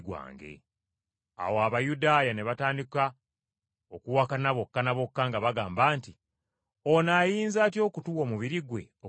Awo Abayudaaya ne batandika okuwakana bokka na bokka nga bagamba nti, “Ono ayinza atya okutuwa omubiri gwe okugulya?”